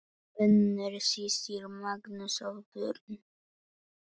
Unnur systir, Magnús og börn.